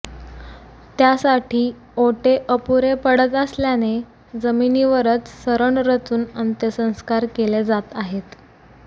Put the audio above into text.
त्यासाठी ओटे अपुरे पडत असल्याने जमिनीवरच सरण रचून अंत्यसंस्कार केले जात आहेत